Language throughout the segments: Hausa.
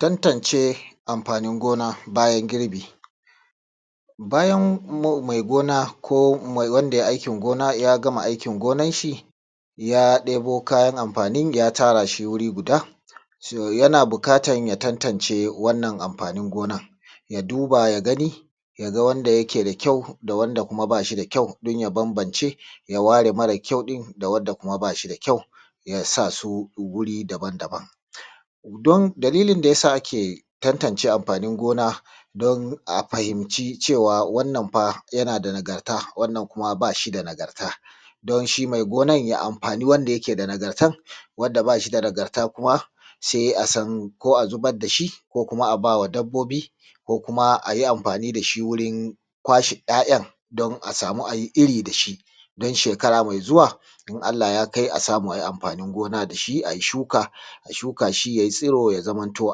Tantance amfanin gona bayan girbi. Bayan mai gona ko wanda ya yi aikin gona ya gama aikin gonan shi, ya ɗebo kayan amfanin ya tara shi wuri guda, to yana buƙatan ya tantance wannan amfanin gonan, ya duba ya gani, ya ga wanda yake da kyau da wanda kuma ba shi da kyau, don ya bambance ya ware mara kyau ɗin da wanda ba shi da kyau, ya sa su wuri daban-daban. Don, dalilin da ya sa ake tantance amfanin gona, don a fahimci cewa wannan fa yana da nagarta, wannan kuma ba shi da nagarta, don shi mai gonan ya amfani wanda yake da nagartan, wanda ba shi da nagarta kuma sai a san, ko a zubar da shi ko kuma a ba wa dabbobi, ko kuma a yi amfani da shi wurin kwashe ‘ya’yan, don a samu a yi iri da shi, don shekara mai zuwa in Allah ya kai a samu a yi amfanin gona da shi a yi shuka, a shuka shi ya yi tsiro ya zamanto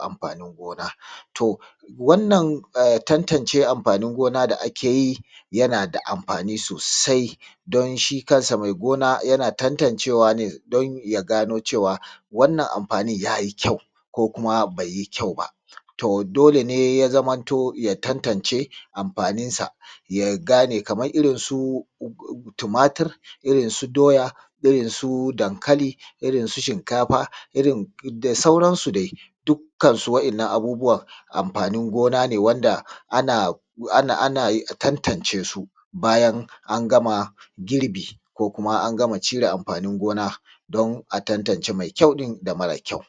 amfanin gona. To, wannan tantance amfanin gona da ake yi yana da amfani sosai, don shi kan shi mai gona yana tantancewa ne don ya gano cewa wannan amfanin ya yi kyau, ko kuma bai yi kyau ba. To, dole ne ya zamanto ya tantance amfaninsa ya gane kamar irin su tumatir, irin su doya, irin su dankali, irin su shinkafa, irin da sauransu dai, dukkasu waɗannan abubuwan amfanin gona ne wanda ana, ana, ana tantance su bayan an gama girbi ko kuma an gama cire amfanin gona, don a tantance mai kyau ɗin da mara kyau.